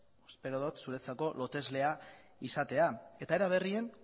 espero dut zuretzako loteslea izatea era berean